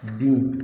Bin